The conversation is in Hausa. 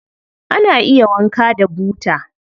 Ana iya wanka da buta.